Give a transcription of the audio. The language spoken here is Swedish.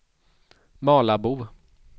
Malabo